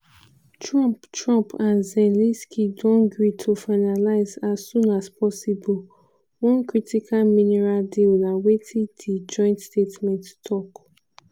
trump trump and zelensky don gree to finalise "as soon as possible" one critical mineral deal na wetin di joint statement tok.